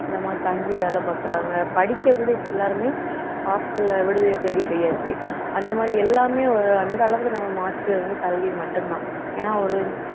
இந்த மாதிரி தங்கி வேலை பாக்குறாங்க படிக்க கூட இப்ப எல்லாருமே hostel ல விடுதியை தேடி போயாச்சு அந்த மாதிரி எல்லாமே அந்த அளவுக்கு நம்ம மாற்று வந்து கல்வி மட்டும்தான் ஏன்னா ஒரு